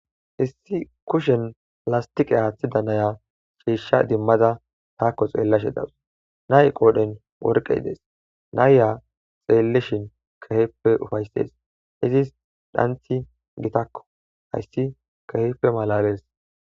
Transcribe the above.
Issi kushiyan lastiqe aattida nayiya ciisha demada taakko xeelashe de7awus. Na7ee qooren worqay dees. Nayiya xeelishin keehippe ufayttes. Izis xanthi keeppe gitakko hayssi keehippe malaalees.